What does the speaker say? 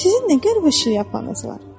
Sizin nə qəribə şeyxapanınız var?